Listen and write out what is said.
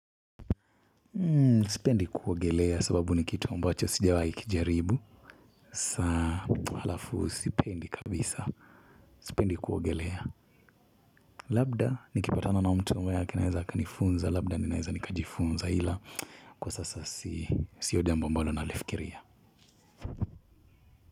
Sipendi kuogelea sababu ni kitu ambacho sijawahi kijaribu. Saa alafu sipendi kabisa. Sipendi kuogelea labda nikipatana na mtu ambaye anaeza akanifunza labda ninaeza nikajifunza ila kwa sasa. Sio jambo ambalo ninalifikiria.